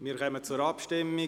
Wir kommen zur Abstimmung.